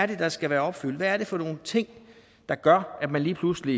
det er der skal være opfyldt hvad det er for nogle ting der gør at man lige pludselig